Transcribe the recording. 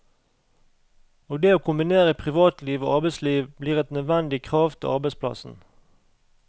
Og det å kombinere privatliv og arbeidsliv blir et nødvendig krav til arbeidsplassen.